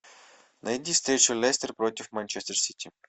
найди встречу лестер против манчестер сити